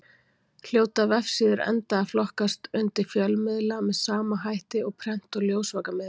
Hljóta vefsíður enda að flokkast undir fjölmiðla með sama hætti og prent- og ljósvakamiðlar.